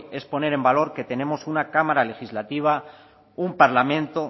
es poner en valor que tenemos una cámara legislativa un parlamento